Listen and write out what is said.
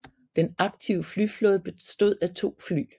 Den aktive flyflåde bestod af 2 fly